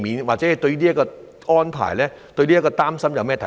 或者對於這個安排或擔心，他有甚麼看法？